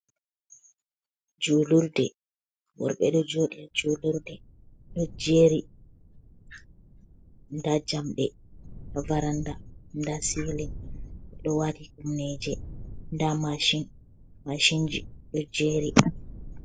Julurde worɓe do jodi julurde do jeri da jamɗe ha varanda da silin ɓe ɗo waɗi kumneje da mashinji ɗo jeri.